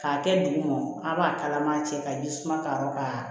K'a kɛ duguma a b'a kalaman cɛ ka ji suma k'a rɔ ka